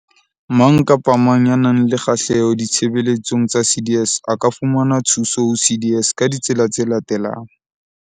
Mang kapa mang ya nang le kgahleho ditshebeletsong tsa CDS a ka fumana thuso ho CDS ka ditsela tse latelang.